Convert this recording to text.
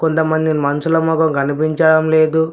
కొంతమంది మనుషుల మొగం కనిపించడం లేదు.